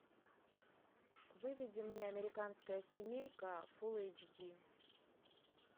выведи мне американская семейка фулл эйч ди